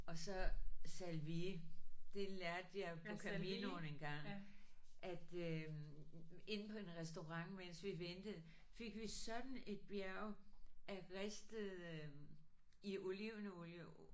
Og så salvie. Det lærte jeg på Caminoen engang at øh inde på en restaurant mens vi ventede fik vi sådan et bjerg af ristede i olivenolie